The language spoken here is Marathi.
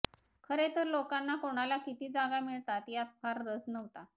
खरे तर लोकांना कोणाला किती जागा मिळतात यात फार रस नव्हता